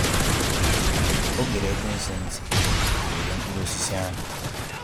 Ọ gere ekwensu ntị wee rie mkpụrụ osisi ahụ